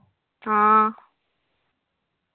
ആ